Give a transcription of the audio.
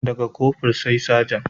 Da ga Kofur sai Saja